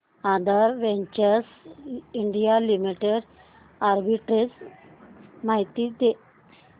आधार ventures India limited arbitrage माहिती दे